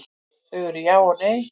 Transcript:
Þau eru já eða nei.